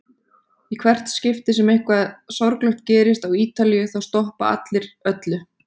Í hvert skipti sem eitthvað sorglegt gerist á Ítalíu þá stoppa allir öllu.